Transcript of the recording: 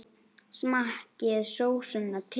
Smakkið sósuna til.